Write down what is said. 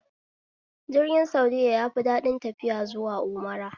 Jirgin saudiya yafi daɗin tafiya zuwa umra